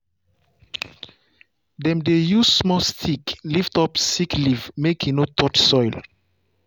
dem dey use small stick lift up sick leaf make e no touch soil.